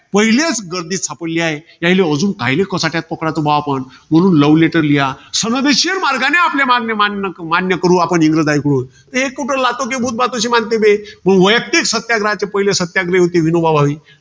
पहिलेच, गर्दीत सापडली आहे. त्यायले अजून कायले कचाट्यात पकडायचं आपण? म्हणून love letter लिहा. संवेदनशील मार्गाने आपल्या मागण्या मान्य~ मान्य करू आपण इंग्रजांकडून. मग वैयक्तिक सत्याग्रहाचे पहिले सत्याग्रही होते, विनोबा भावे.